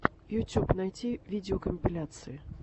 ютьюб найти видеокомпиляции